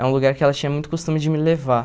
É um lugar que ela tinha muito costume de me levar.